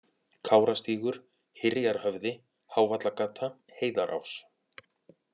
Kárastígur, Hyrjarhöfði, Hávallagata, Heiðarás